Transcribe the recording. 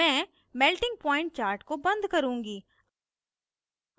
मैं melting point chart को बंद करुँगी